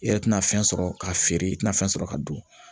I yɛrɛ tɛna fɛn sɔrɔ k'a feere i tɛna fɛn sɔrɔ ka don